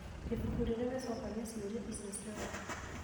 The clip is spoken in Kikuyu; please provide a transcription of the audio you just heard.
Ibuku rĩrĩ rĩcokagia ciũria icio ciothe.